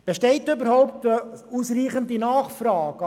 Besteht überhaupt ausreichende Nachfrage?